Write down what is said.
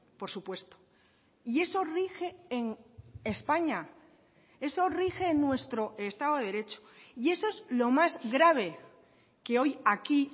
por supuesto y eso rige en españa eso rige en nuestro estado de derecho y eso es lo más grave que hoy aquí